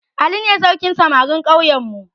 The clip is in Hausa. Ali ne sarkin samarin ƙauyenmu